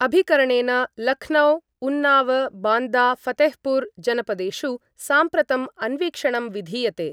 अभिकरणेन लखनौ उन्नाव बांदा फतेहपुर जनपदेषु साम्प्रतं अन्वीक्षणं विधीयते।